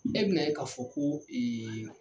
E bi na ye ka fɔ ko ee